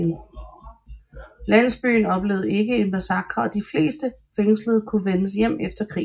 Landsbyen oplevede ikke massakre og de fleste fængslede kunne vende hjem efter krigen